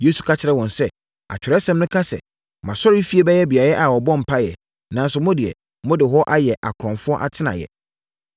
Yesu ka kyerɛɛ wɔn sɛ, “Atwerɛsɛm no ka sɛ, ‘Mʼasɔrefie yɛ beaeɛ a wɔbɔ mpaeɛ.’ Nanso, mo deɛ, mode hɔ ayɛ akorɔmfoɔ atenaeɛ.”